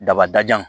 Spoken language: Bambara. Dabajan